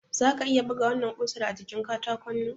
Zaka iya buga wannan kusar a jikin katakonnan?